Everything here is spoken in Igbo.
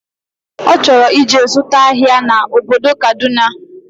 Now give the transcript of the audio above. Ọchọrọ ije zụta ahia na obodo Kaduna